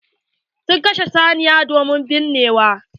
Sun kashe saniya domin binnewa.